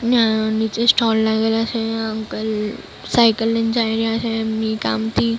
અને આ નીચે સ્ટૉલ લાગેલા છે અંકલ સાયકલ લઈને જાય રહ્યા છે એમની કામથી--